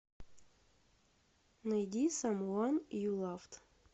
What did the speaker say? найди самван ю лавд